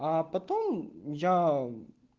а потом я